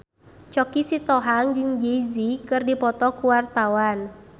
Choky Sitohang jeung Jay Z keur dipoto ku wartawan